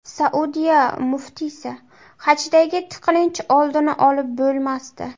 Saudiya muftiysi: hajdagi tiqilinch oldini olib bo‘lmasdi.